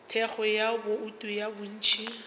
thekgo ya bouto ya bontši